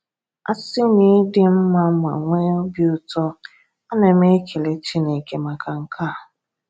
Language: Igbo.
A sị na i dị mma ma nwee obi ụtọ, ana m ekele Chineke maka nke a.